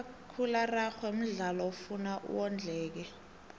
umakhakhula araxhwe mdlalo ofuna wondleke